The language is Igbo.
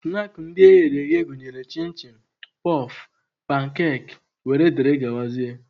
Snaakị ndị eghere eghe gụnyere chịn chịn, pọf, pankakị wdg.